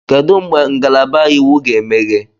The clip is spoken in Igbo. Kedu mgbe ngalaba Iwu ga-emeghe?